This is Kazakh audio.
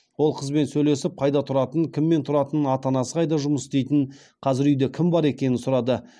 ол қызбен сөйлесіп қайда тұратынын кіммен тұратынын ата анасы қайда жұмыс істейтінін қазір үйде кім бар екенін сұрады